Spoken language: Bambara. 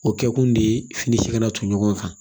O kɛ kun de ye finicɛ ka na to ɲɔgɔn kan